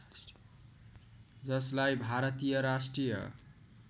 जसलाई भारतीय राष्ट्रिय